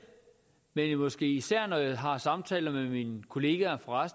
men måske især når jeg har samtaler med mine kollegaer fra